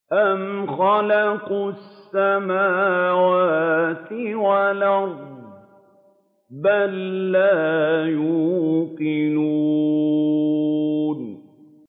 أَمْ خَلَقُوا السَّمَاوَاتِ وَالْأَرْضَ ۚ بَل لَّا يُوقِنُونَ